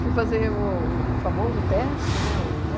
fui fazer o o famoso teste, né? O